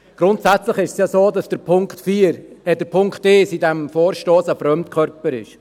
Grundsätzlich ist es ja so, dass der Punkt 1 in diesem Vorstoss ein Fremdkörper ist.